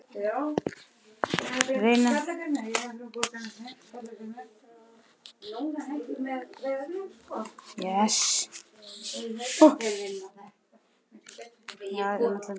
Það er gott sagði hann, gott